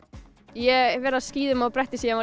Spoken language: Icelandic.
ég vera á skíðum og bretti síðan